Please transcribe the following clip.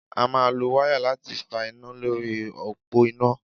A máa lo wáyà láti fa iná lórí òpó iná.